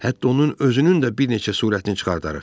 Hətta onun özünün də bir neçə surətini çıxardarıq.